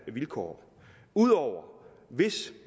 vilkår ud over hvis